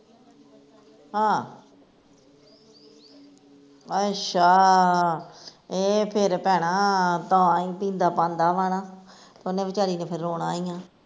ਹਾ ਅੱਛਾ, ਏਹ ਫਿਰ ਭੈਣਾਂ ਤਾਂ ਈ ਪੀਂਦਾ ਪਾਂਦਾ ਵਾਂ ਨਾ ਓਹਨੇ ਵਿਚਾਰੀ ਨੇ ਫਿਰ ਰੋਣਾ ਈ ਆ